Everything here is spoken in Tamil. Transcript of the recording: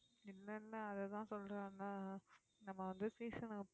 இல்லை இல்லை அதைத்தான் சொல்றேன்ல நம்ம வந்து season க்கு